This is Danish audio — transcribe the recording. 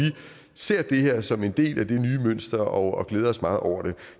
ser det her som en del af det nye mønster og glæder os meget over det